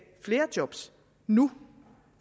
flere job nu